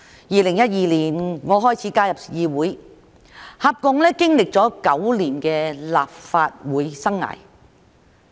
2012年我開始加入議會，合共經歷了9年的立法會生涯。